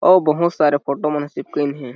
अउ बहुत सारा फोटो मन चिपकाइन हे।